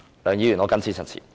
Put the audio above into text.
梁議員，我謹此陳辭。